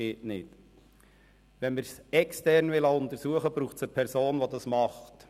Wenn wir das Ganze extern untersuchen lassen wollen, braucht es eine Person, die dies tut.